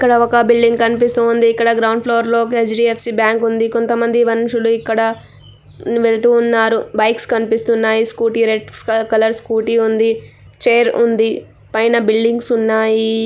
ఇక్కడ ఒక బిల్డింగ్ కనిపిస్తూ ఉంది ఇక్కడ గ్రౌండ్ ఫ్లోర్లో హెచ్_డి_ఎఫ్_సి బ్యాంకు ఉంది కొంత మంది మనుషులు ఇక్కడ వెళుతూ ఉన్నారు బైక్స్ కనిపిస్తున్నాయి స్కూటీ రెడ్ కలర్ స్కూటీ ఉంది చైర్ ఉంది పైన బిల్డింగ్స్ ఉన్నాయి.